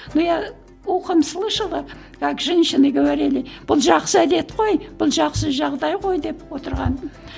но я ухом слышала как женщины говорили бұл жақсы әдет қой бұл жақсы жағдай ғой деп отырғанын